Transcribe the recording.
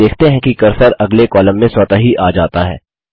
आप देखते हैं कि कर्सर अगले कॉलम में स्वतः ही आ जाता है